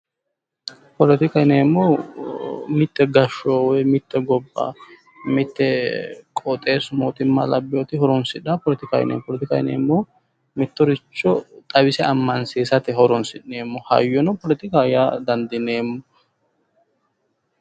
Poletika yineemohu mitte gashsho woyi mitte gobba mitte qooxeesu mootima labiyooti horonsidhaaha poletikaho yineemo. poletikaho yineemohu mittoricho xawise amanchishatte horoonisiineemo hayyo no poletikaho yaa dandineemo.